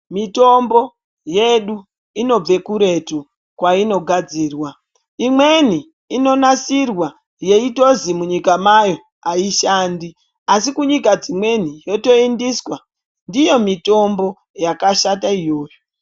Mitombo yedu inobve kuretu kwainogadzirwa imweni inonasirwa yeitozi munyika mayo aishandi asi kunyika dzimweni yotoendeswa ndiyo mitombo yakashata iyoyo.